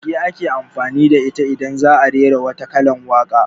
Goge ake amfani da ita idan za'a rera wata kalar waka